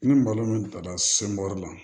Ni malo min bilara la